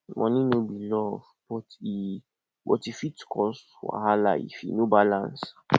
money no be love but e but e fit cause wahala if e no balance